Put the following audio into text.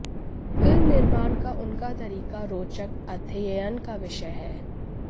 film निर्माण का उनका तरीका रोचक अध्ययन का विषय है